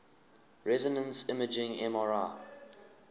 resonance imaging mri